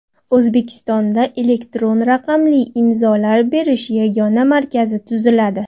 O‘zbekistonda Elektron raqamli imzolar berish yagona markazi tuziladi.